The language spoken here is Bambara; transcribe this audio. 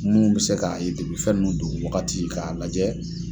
Mun be se k'a ye depi fɛn nunnu don wagati k'a lajɛ